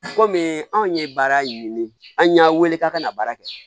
Kɔmi anw ye baara ɲini an y'a wele k'a ka na baara kɛ